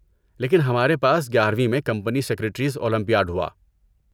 لیکن ہمارے پاس گیارویں میں کمپنی سکریٹریز اولمپیاڈ ہوا